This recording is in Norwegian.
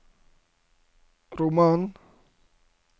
roman